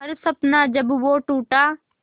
हर सपना जब वो टूटा